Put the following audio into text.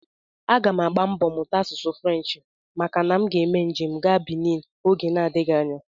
Aga m agba mbọ mụta asụsụ French maka na aga m eme njem gaa Benin oge adịghị anya